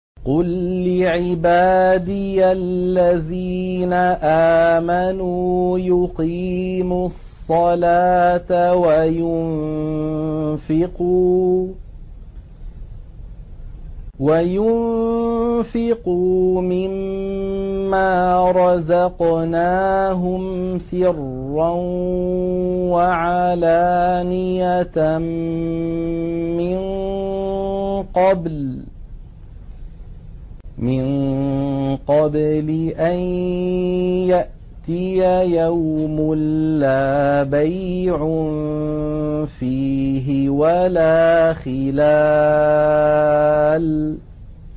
قُل لِّعِبَادِيَ الَّذِينَ آمَنُوا يُقِيمُوا الصَّلَاةَ وَيُنفِقُوا مِمَّا رَزَقْنَاهُمْ سِرًّا وَعَلَانِيَةً مِّن قَبْلِ أَن يَأْتِيَ يَوْمٌ لَّا بَيْعٌ فِيهِ وَلَا خِلَالٌ